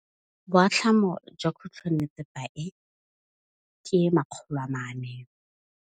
Boatlhamô jwa khutlonnetsepa e, ke 400.